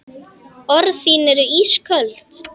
Orð þín eru ísköld.